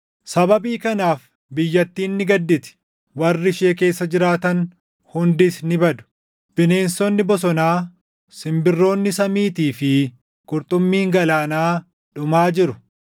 Sababii kanaaf biyyattiin ni gadditi; warri ishee keessa jiraatan hundis ni badu; bineensonni bosonaa, simbirroonni samiitii fi qurxummiin galaanaa dhumaa jiru.